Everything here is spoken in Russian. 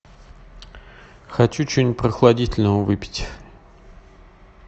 хочу что нибудь прохладительного выпить